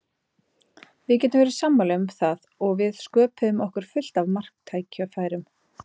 Við getum verið sammála um það og við sköpuðum okkur fullt af marktækifærum.